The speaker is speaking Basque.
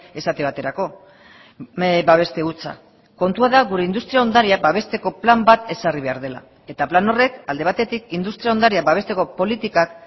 esate baterako babeste hutsa kontua da gure industria ondarea babesteko plan bat ezarri behar dela eta plan horrek alde batetik industria ondarea babesteko politikak